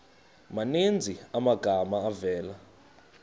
maninzi amagama avela